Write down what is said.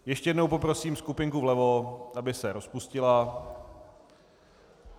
Ještě jednou poprosím skupinku vlevo, aby se rozpustila...